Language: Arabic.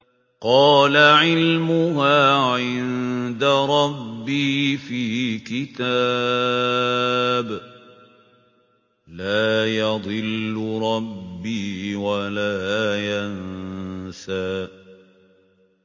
قَالَ عِلْمُهَا عِندَ رَبِّي فِي كِتَابٍ ۖ لَّا يَضِلُّ رَبِّي وَلَا يَنسَى